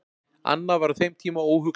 annað var á þeim tíma óhugsandi